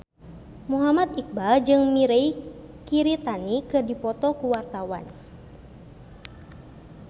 Muhammad Iqbal jeung Mirei Kiritani keur dipoto ku wartawan